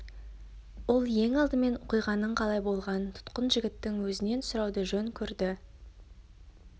ол ең алдымен оқиғаның қалай болғанын тұтқын жігіттің өзінен сұрауды жөн көрді